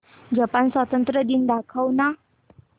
Japan स्वातंत्र्य दिवस दाखव ना